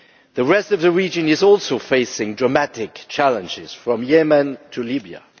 The rest of the region is also facing dramatic challenges, from Yemen to Libya.